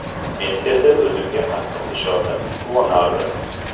Men esa o‘zimga qattiq ishonib, quvonardim.